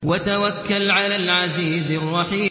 وَتَوَكَّلْ عَلَى الْعَزِيزِ الرَّحِيمِ